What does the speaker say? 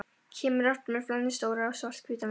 Kemur aftur með flennistóra, svarthvíta mynd.